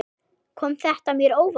Kom þetta mér á óvart?